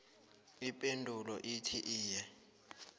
ipendulo ithi iye